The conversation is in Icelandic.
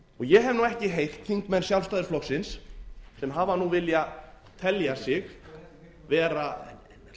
ég hef ekki heyrt þingmenn sjálfstæðisflokksins sem hafa nú viljað telja sig vera